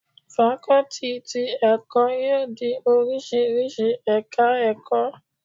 Fakọ́tì ti ẹ̀kọ́ yóò ní oríṣiríṣi ẹ̀ka ẹ̀kọ́.